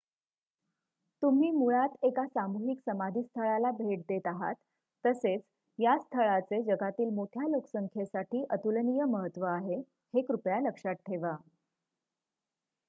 तुम्ही मुळात एका सामूहिक समाधीस्थळाला भेट देत आहात तसेच या स्थळाचे जगातील मोठ्या लोकसंख्येसाठी अतुलनिय महत्त्व आहे हे कृपया लक्षात ठेवा